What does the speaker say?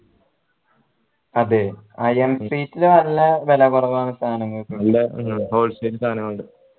അതെ അയാം street ൽ നല്ല കുറവാ സാധനങ്ങൾക്ക് wholesale സാധനങ്ങൾക്ക്